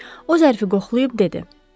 O zərfi qoxlayıb dedi: